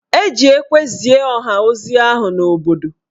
E ji ekwe zie ọha ozi ahụ n'obodo